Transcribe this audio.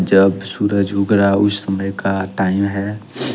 जब सूरज उग रहा उस समय का टाइम है।